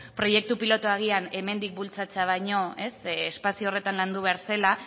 proiektu pilotua agian hemendik bultzatzea baino espazio horretan landu behar zela